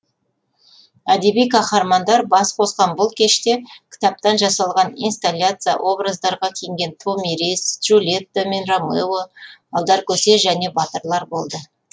әдеби қаһармандар бас қосқан бұл кеште кітаптан жасалған инсталяция образдарда киінген томирис джульетта мен ромео алдар көсе және батырлар болды